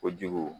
Kojugu